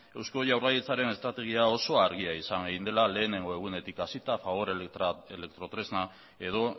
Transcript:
eusko jaurlaritzaren estrategia oso argia izan dela lehenengo egunetik hasita fagor elektrotresna edo